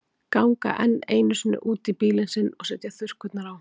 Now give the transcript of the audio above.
Ganga enn einu sinni út í bílinn sinn og setja þurrkurnar á.